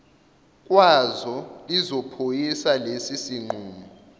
kwazo lizophoyisa lesisinqumo